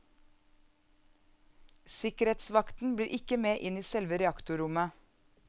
Sikkerhetsvakten blir ikke med inn i selve reaktorrommet.